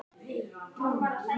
Það er eitt sem víst er.